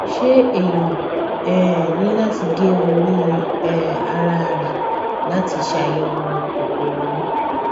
ṣé èèyàn um ní láti gé orí um ara ẹ láti ṣàyẹwò koro ni